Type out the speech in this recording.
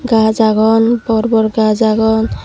gaj agon bor bor gaj agon.